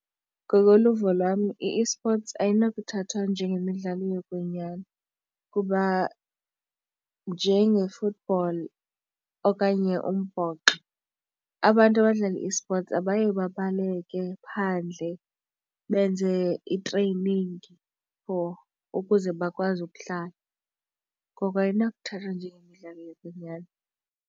Ngokoluvo lwam i-esports ayinokuthathwa njengemidlalo yokwenyani kuba njenge-football okanye umbhoxo abantu abadlala i-esports abaye babaleke phandle benze i-training for ukuze bakwazi ukudlala, ngoko ayinakuthathwa njengemidlalo yokwenyani.